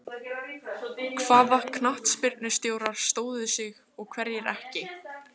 Hvaða knattspyrnustjórar stóðu sig og hverjir ekki?